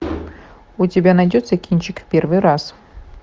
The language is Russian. у тебя найдется кинчик в первый раз